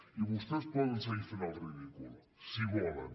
i vostès poden seguir fent el ridícul si volen